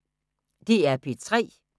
DR P3